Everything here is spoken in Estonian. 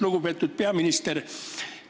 Lugupeetud peaminister!